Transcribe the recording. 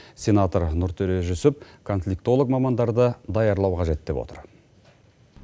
сенатор нұртөре жүсіп конфликтолог мамандарды даярлау қажет деп отыр